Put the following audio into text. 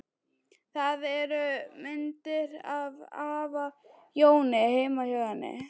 Það eru myndir af afa Jóni heima hjá henni.